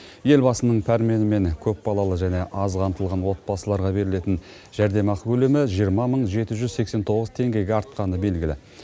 елбасының пәрменімен көпбалалы және аз қамтылған отбасыларға берілетін жәрдемақы көлемі жиырма мың жеті жүз сексен тоғыз теңгеге артқаны белгілі